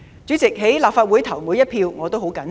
主席，在立法會投的每一票，我也十分謹慎。